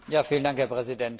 Herr Präsident!